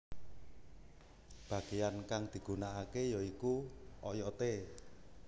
Bageyan kang digunakake ya iku oyode